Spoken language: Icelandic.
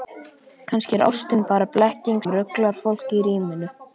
Kannski er ástin bara blekking sem ruglar fólk í ríminu.